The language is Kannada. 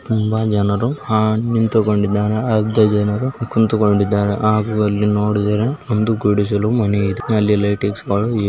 ಈ ದೃಶ್ಯದಲ್ಲಿ ಕಾಣುತ್ತಿರುವುದು ಏನೆಂದರೆ ಇಲ್ಲಿ ಚೀಲದಲ್ಲಿ ಏನು ಭಾರವಾದ ವಸ್ತುವನ್ನು ಇಟ್ಟು ಅದರ ಭಾರವನ್ನು ತೂಕ ಮಾಡುತ್ತಿದ್ದಾರೆ.